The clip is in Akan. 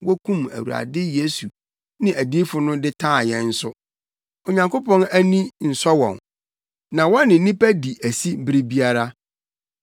wokum Awurade Yesu ne adiyifo no de taa yɛn nso. Onyankopɔn ani nsɔ wɔn, na wɔne nnipa di asi bere biara.